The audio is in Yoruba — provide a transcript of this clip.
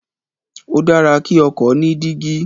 Ó dára kí ọkọ ni dígí